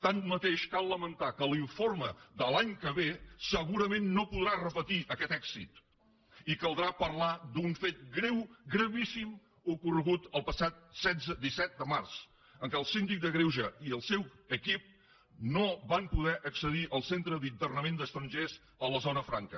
tanmateix cal lamentar que l’informe de l’any que ve segurament no podrà repetir aquest èxit i caldrà parlar d’un fet greu gravíssim ocorregut el passat disset de març en què el síndic de greuges i el seu equip no van poder accedir al centre d’internament d’estrangers a la zona franca